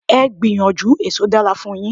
Please try, fruit is good for you.